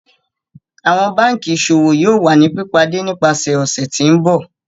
Awọn banki Iṣowo yoo wa ni pipade nipasẹ ọsẹ ti n bọ.